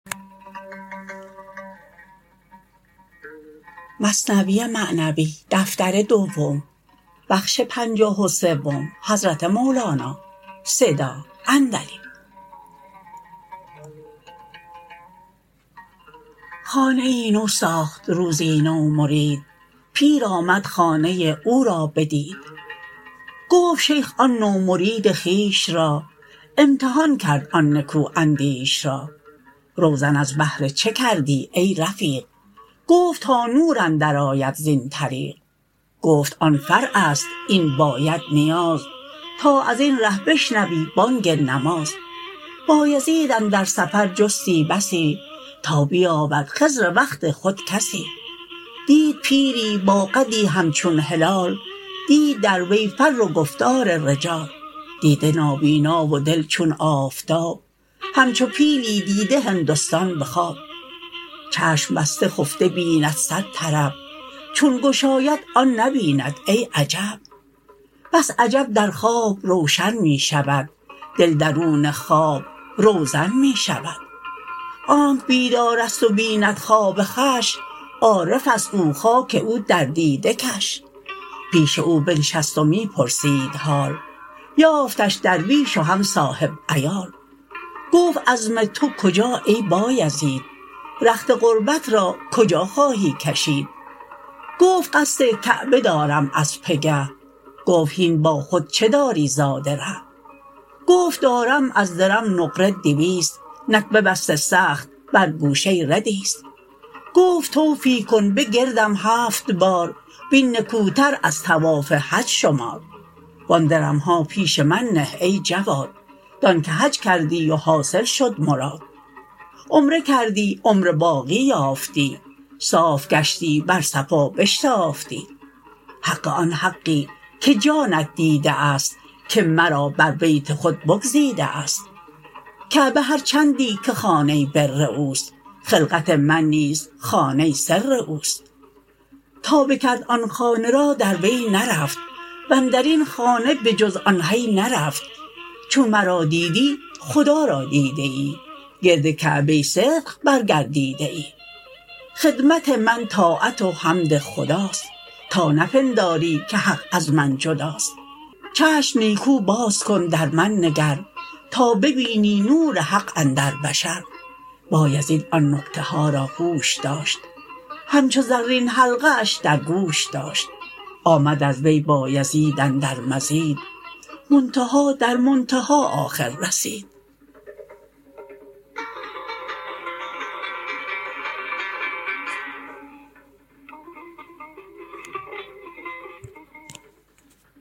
خانه ای نو ساخت روزی نو مرید پیر آمد خانه او را بدید گفت شیخ آن نو مرید خویش را امتحان کرد آن نکو اندیش را روزن از بهر چه کردی ای رفیق گفت تا نور اندر آید زین طریق گفت آن فرعست این باید نیاز تا ازین ره بشنوی بانگ نماز بایزید اندر سفر جستی بسی تا بیابد خضر وقت خود کسی دید پیری با قدی همچون هلال دید در وی فر و گفتار رجال دیده نابینا و دل چون آفتاب همچو پیلی دیده هندستان به خواب چشم بسته خفته بیند صد طرب چون گشاید آن نبیند ای عجب بس عجب در خواب روشن می شود دل درون خواب روزن می شود آنک بیدارست و بیند خواب خوش عارفست او خاک او در دیده کش پیش او بنشست و می پرسید حال یافتش درویش و هم صاحب عیال گفت عزم تو کجا ای بایزید رخت غربت را کجا خواهی کشید گفت قصد کعبه دارم از پگه گفت هین با خود چه داری زاد ره گفت دارم از درم نقره دویست نک ببسته سخت بر گوشه ردیست گفت طوفی کن بگردم هفت بار وین نکوتر از طواف حج شمار و آن درمها پیش من نه ای جواد دان که حج کردی و حاصل شد مراد عمره کردی عمر باقی یافتی صاف گشتی بر صفا بشتافتی حق آن حقی که جانت دیده است که مرا بر بیت خود بگزیده است کعبه هرچندی که خانه بر اوست خلقت من نیز خانه سر اوست تا بکرد آن خانه را در وی نرفت واندرین خانه به جز آن حی نرفت چون مرا دیدی خدا را دیده ای گرد کعبه صدق بر گردیده ای خدمت من طاعت و حمد خداست تا نپنداری که حق از من جداست چشم نیکو باز کن در من نگر تا ببینی نور حق اندر بشر بایزید آن نکته ها را هوش داشت همچو زرین حلقه اش در گوش داشت آمد از وی بایزید اندر مزید منتهی در منتها آخر رسید